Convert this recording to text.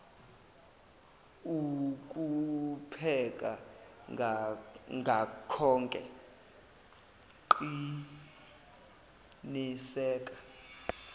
ukupheka ngakhoke qiniseka